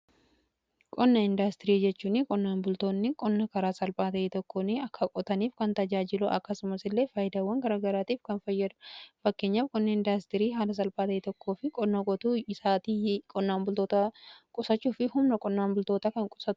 Qonna 'indaastirii' jechuun qonnaan bultoonni qonna karaa salphaa ta'ee tokkoon akka qotaniif kan tajaajilu akkasumas illee faayidaawwan garaagaraatiif kan fayyadu. Fakkeenyaaf qonna 'indaastirii' haala salphaa ta'ee tokkoo fi qonna qotuu isaatii qonnaan bultoota qusachuu fi humna qonnaan bultootaa kan qusatu.